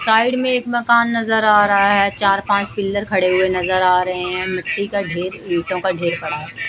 Side में एक मकान नजर आ रहा हैं चार पांच पिलर खड़े हुए नजर आ रहे हैं मिट्टी का ढेर ईंटों का ढेर पड़ा हुआ हैं।